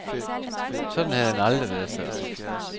Sådan havde han aldrig været før.